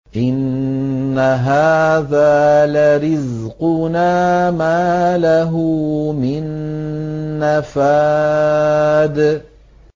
إِنَّ هَٰذَا لَرِزْقُنَا مَا لَهُ مِن نَّفَادٍ